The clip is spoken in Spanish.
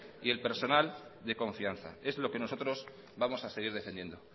y el personal de confianza es lo que nosotros vamos a seguir defendiendo